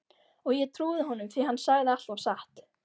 Og ég trúði honum því hann sagði alltaf satt.